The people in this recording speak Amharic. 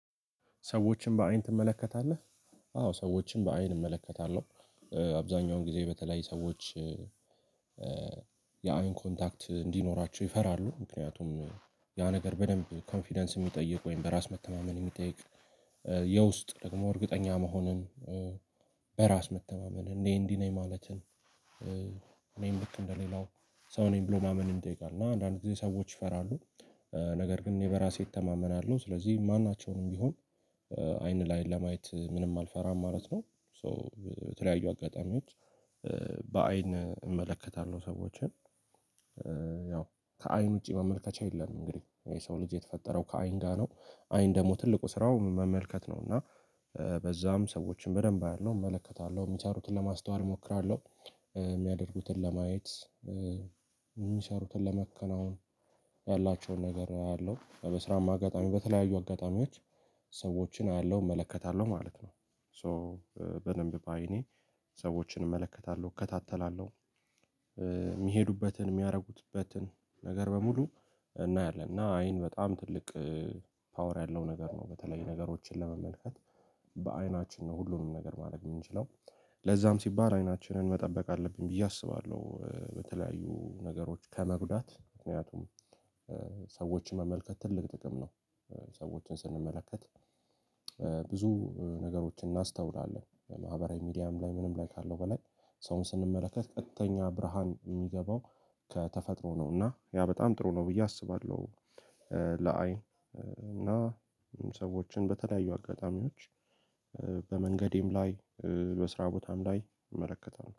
ሰዎችን በአይን ትመለከታለህ? አዎ ሰዎችን በአይን እመለከታለሁ። አብዛኛውን ጊዜ በተለያዩ ሰዎች። ያው ኮንታክት እንዲኖራቸው ይፈራሉ ምክንያቱም ያ ነገር በደንብ ኮንፊደንስ የሚጠይቅ ወይም በራስ መተማመን የሚጠይቅ። የውስጥ ደግሞ እርግጠኛ መሆንን። በራስ መተማመን እኔ እንዲህ ነኝ ማለትን። እኔም ልክ እንደሌላው ሰው ነኝ ብሎ ማመንም እጠይቃለሁ እና አንዳንድ ጊዜ ሰዎች ይፈራሉ። ነገር ግን በራሴ እተማመናለው ስለዚህ ማናቸውንም ቢሆን አይን ላይ ለማየት ምንም አልፈራም ማለት ነው። በተለያዩ አጋጣሚዎች። በአይን እመለከታለሁ ሰዎችን ያው ከአይን ውጪ መመልከቻ የለም። እንግዲህ የሰው ልጅ የተፈጠረው ከአይን ጋር ነው። አይን ደግሞ ትልቁ ስራው መመልከት ነው። እና በዛም ሰዎችን በደንብ አያለሁ እመለከታለሁ የሚቻሩትን ለማስተዋል እሞክራለሁ። የሚያደርጉትን ለማየት። የሚቻሩትን ለመከናወን ያላቸውን ነገር አያለሁ። በስራም አጋጣሚ በተለያዩ አጋጣሚዎች ሰዎችን አያለሁ እመለከታለሁ ማለት ነው። ሶ በደንብ ባይኔ ሰዎችን እመለከታለሁ እከታተላለሁ። የሚሄዱበትን የሚያደርጉበትን ነገር በሙሉ እናያለን እና አይን በጣም ትልቅ ፓወር ያለው ነገር ነው። በተለይ ነገሮችን ለመመልከት በአይናችን ነው ሁሉንም ነገር ማድረግ የምንችለው። ለዛም ሲባል አይናችንን መጠበቅ አለብን ብዬ አስባለሁ። በተለያዩ ነገሮች ከመጉዳት ምክንያቱም ሰዎችን መመልከት ትልቅ ጥቅም ነው። ሰዎችን ስንመለከት። ብዙ ነገሮችን እናስተውላለን ማህበራዊ ሚዲያም ላይ ምንም ላይ ካለው በላይ ሰውን ስንመለከት ቀጥተኛ ብርሃን የሚገባው። ከተፈጥሮ ነው እና ያ በጣም ጥሩ ነው ብዬ አስባለሁ። ለአይን እና ሰዎችን በተለያዩ አጋጣሚዎች። በመንገዴም ላይ በስራ ቦታም ላይ እመለከታለሁ